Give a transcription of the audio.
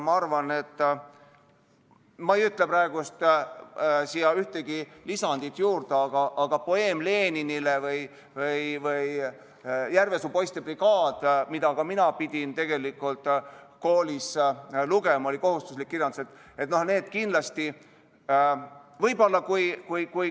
Ma ei ütle praegu siia ühtegi lisandit juurde, aga "Poeem Leninile" või "Järvesuu poiste brigaad", mida ka mina pidin koolis lugema, sest see oli kohustuslik kirjandus, on kindlasti sellised näited.